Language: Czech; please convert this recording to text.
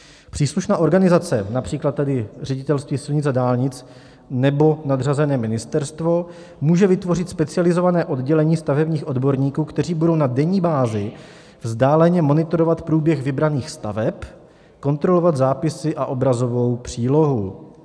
Příslušná organizace, například tady Ředitelství silnic a dálnic nebo nadřazené ministerstvo, může vytvořit specializované oddělení stavebních odborníků, kteří budou na denní bázi vzdáleně monitorovat průběh vybraných staveb, kontrolovat zápisy a obrazovou přílohu.